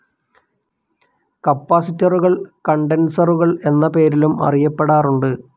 കപ്പാസിറ്ററുകൾ കണ്ടൻസറുകൾ എന്ന പേരിലും അറിയപ്പെടാറുണ്ട്.